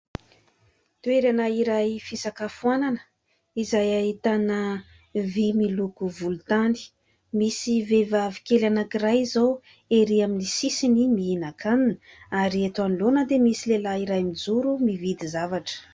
Toerana iray fisakafoanana izay ahitana vy miloko volontany ; misy vehivavy kely anankiray izao erỳ amin'ny sisiny mihinan-kanina ary eto anoloana dia misy lehilahy iray mijoro mividy zavatra.